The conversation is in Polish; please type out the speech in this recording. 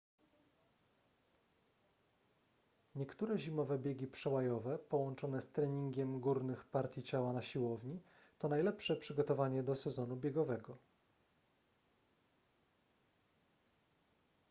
niektóre zimowe biegi przełajowe połączone z treningiem górnych partii ciała na siłowni to najlepsze przygotowanie do sezonu biegowego